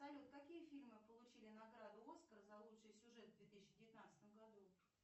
салют какие фильмы получили награду оскар за лучший сюжет в две тысячи девятнадцатом году